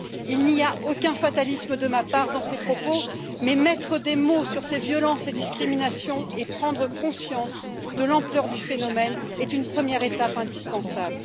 Il n'y a aucun fatalisme de ma part dans ces propos, mais mettre des mots sur ces violences et discriminations et prendre conscience de l'ampleur du phénomène est une première étape indispensable.